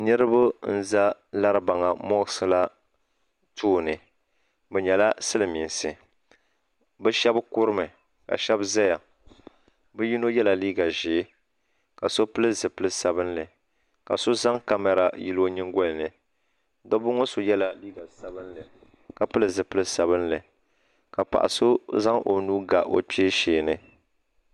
Niriba n za Laribaŋa moksila tooni bɛ nyɛla silimiinsi bɛ sheba kurimi sheba zaya bɛ yino nyɛla liiga ʒee ka so pili zipili sabinli ka so zaŋ kamara yili o nyingolini dabba ŋɔ so yela liiga sabinli ka pili zipil'sabinli ka paɣa so zaŋ o nuu ga o kpee shee ni.